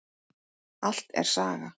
Allt er saga.